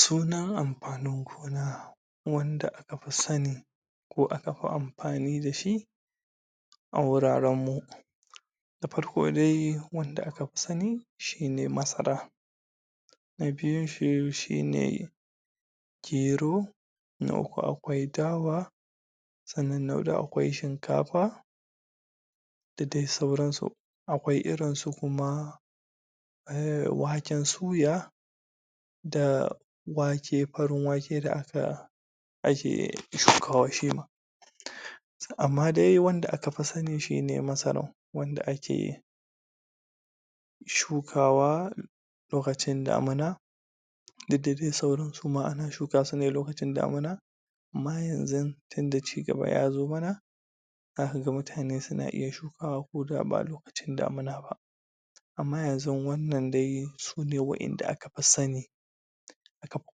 sunan amfanin gona wanda aka fi sani ko aka fi amfani dashi a wuraran mu da farko dai wanda aka fi sani shine masara na biyun shi shine gero na uku aƙwai dawa sannan na huɗu aƙwai shinkafa da dai sauransu aƙwai irinsu kuma um waken suya da wake farin wake da aka ake shukawa shima amma dai wanda aka fi sani shine masara wanda ake shukawa lokacin damuna didda dai sauran suma ana shuka sune lokacin damuna amma yanzun tunda cigaba yazo mana zaka ga mutane suna iya shukawa ko da ba lokacin damuna ba amma yanzun wannan dai sune wa inda aka fi sani aka fi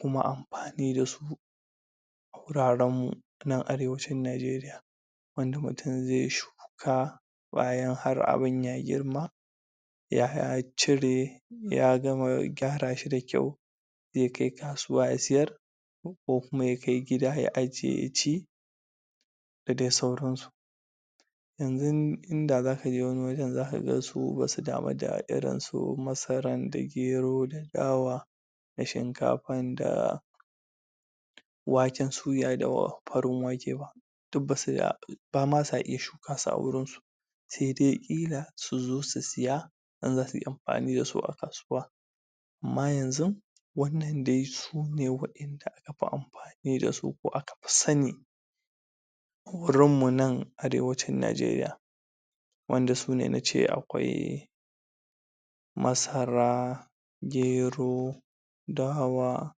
kuma amfani dasu a guraran mu nan arewacin najeriya wanda mutun zai shuka ƙwayan har abun ya girma ya cire ya gama gyarashi da kyau ya kai kasuwa ya siyar ko kuma ya kai gida ya ajiye ya ci da dai sauransu yanzun inda zakaje wani wajan zaka su basu damu da irinsu masaran da gero da dawa da shinkafan da waken suya da farin wake ba duk basu bama sa iya shukasu a gurinsu sai dai ƙila suzo su siya in zasuyi amfani dasu a kasuwa amma yanzun wannan dai sune wa inda aka fi amfani dasu ko aka fi sani wurinmu nan arewacin najeriya wanda sune nace aƙwai masara gero dawa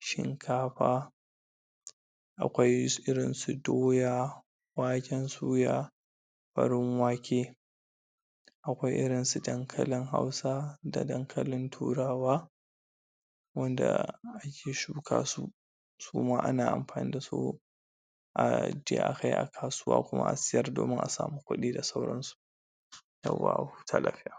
shinkafa aƙwai su irinsu doya waken suya farin wake aƙwai irinsu dankalin hausa da dankalin turawa wanda ake shukasu suma ana amfani dasu aje akai a kasuwa kuma a siyar domin a samu kuɗi da sauransu yawwa a huta lafiya